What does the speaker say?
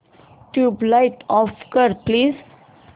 tubelight off कर please